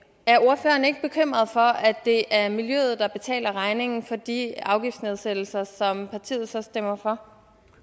er ordføreren ikke bekymret for at det er miljøet der betaler regningen for de afgiftsnedsættelser som partiet så stemmer for